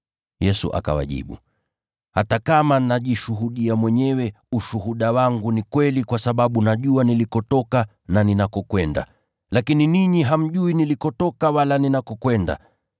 Yesu akawajibu, “Hata kama najishuhudia mwenyewe, ushuhuda wangu ni kweli kwa sababu najua nilikotoka na ninakokwenda. Lakini ninyi hamjui nilikotoka wala ninakokwenda.